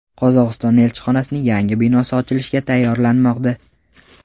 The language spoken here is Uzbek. Qozog‘iston elchixonasining yangi binosi ochilishga tayyorlanmoqda.